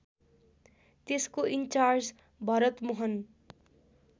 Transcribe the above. त्यसको इन्चार्ज भरतमोहन